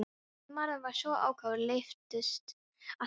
Maðurinn var svo ákafur, lyftist allur.